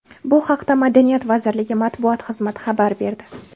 Bu haqda Madaniyat vazirligi matbuot xizmati xabar berdi.